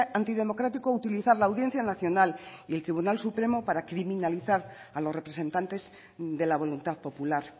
antidemocrático utilizar la audiencia nacional y el tribunal supremo para criminalizar a los representantes de la voluntad popular